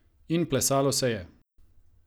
In plesalo se je!